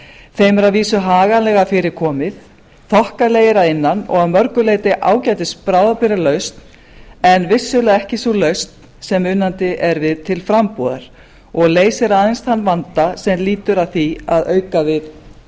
þeim er að vísu haganlega fyrir komið þokkalegir að innan og að mörgu leyti ágætisbráðabirgðalausn en vissulega ekki sú lausn sem unandi er við til frambúðar og leysir aðeins þann vanda sem lýtur að því að auka við